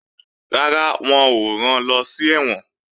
Rárá, wọn ò ran lọ sí ẹ̀wọ̀n